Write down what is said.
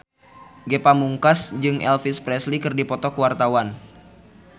Ge Pamungkas jeung Elvis Presley keur dipoto ku wartawan